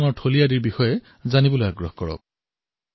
সেই স্থানৰ পৰ্যটনস্থলসমূহ দৰ্শন কৰক সেইসমূহৰ বিষয়ে জানক